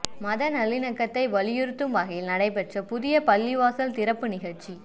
மத நல்லிணக்கத்தை வலியுறுத்தும் வகையில் நடைபெற்ற புதிய பள்ளிவாசல் திறப்பு நிகழ்ச்சி